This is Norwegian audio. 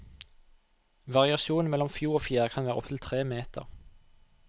Variasjonen mellom flo og fjære kan være opptil tre meter.